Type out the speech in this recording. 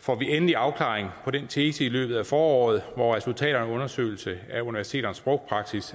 får vi endelig afklaring på den tese i løbet af foråret hvor resultaterne af en undersøgelse af universiteternes sprogpraksis